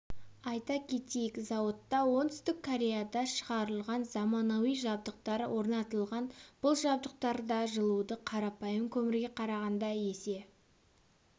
айта кетейік зауытта оңтүстік кореяда шығарылған заманауи жабдықтар орнатылған бұл жабдықтарда жылуды қарапайым көмірге қарағанда есе